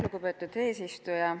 Lugupeetud eesistuja!